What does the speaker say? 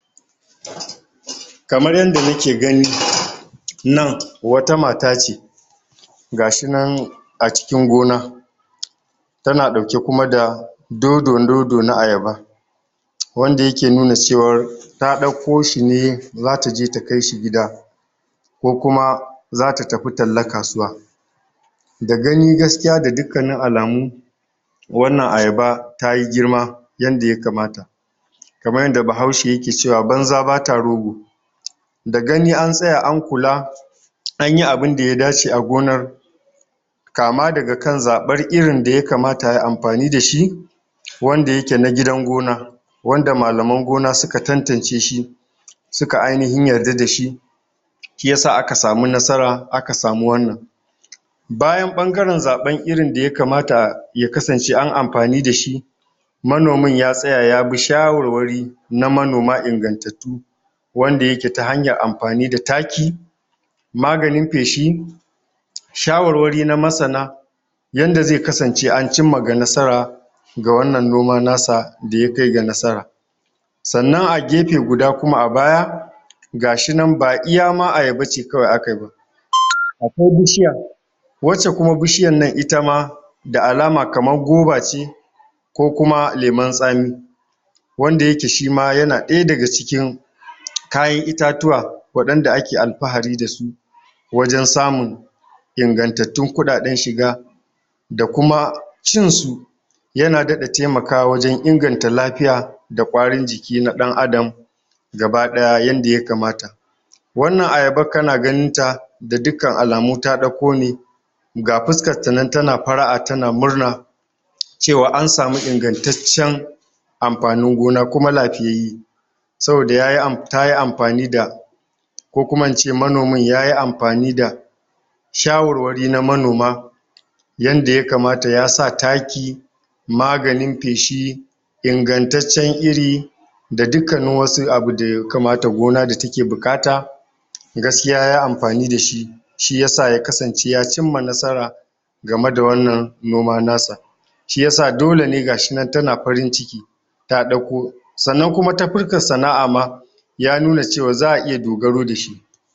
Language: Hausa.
Kamar yadda muke gani, nan wata mata ce, gashi nan a cikin gona. Tana ɗauke kuma da dondo-dondo na ayaba, wanda yake nuna cewar ta ɗakko shi ne, zata je ta kai shi gida, ko kuma zata tafi talla kasuwa. Da gani gaskiya, ga dukkanin alamu wannan ayaba tayi girma, yanda ya kamata. Kaman yanda bahaushe yake cewa banza bata rogo, da gani an tsaya an kula, anyi abinda ya dace a gonar. Kama daga kan zaɓar irin da ya kamata ayi amfani dashi, wanda yake na gidan gona, wanda malaman gona suka tantance shi, suka ainihin yarda dashi, shi yasa aka samu nasara, aka samu wannan. Bayan ɓangaren zaɓan irin da ya kamata, ya kasance an amfani dashi, manomin ya tsaya yabi shawarwari na manoma ingantattu, wanda yake ta hanyar amfani da taki, maganin feshi, shawarwari na masana, yanada zai kasance an cimma ga nasara, ga wannan noma nasa da ya kai ga nasara. Sannan a gefe guda kuma a baya, ba iya ma ayaba ce kawai a kayi ba, akwai bishiya, wacce kuma bishiyan nan ita ma da alama kaman guava ce, ko kuma lemon tsami, wanda yake shi ma yana ɗaya daga cikin kayan itatuwa, waɗan da ake alfahari da su, wajan samun ingantattun kuɗaɗen shiga, da kuma cin su yana daɗa taimakawa wajan inganta lafiya, da ƙwarin jiki na ɗan adam gaba ɗaya, yadda ya kamata. Wannan ayaban kana ganin ta, da dukkan alamu ta ɗakko ne, ga fuskan ta nan tana fara'a, tana murna, cewa an samu ingantaccen amfanin gona, kuma lafiyayye. Saboda tayi amfani da, ko kuma in ce manomin yayi amfani da shawarwari na manoma, yanda ya kamat, ya sa taki, maganin feshi, ingantaccen iri, da dukkanin wasu abu da yakamata gona da take buƙata, gaskiya yayi amfani dashi, shi yasa ya kasance ya cimma nasara, game da wannan noma nasa. Shi yasa dole ne gashi nan tana farin ciki, ta ɗakko. Sannan kuma ta fuskan sana'a ma, ya nuna cewan za a iya dogaro dashi.